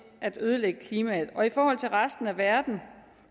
at ødelægge klimaet og i forhold til resten af verden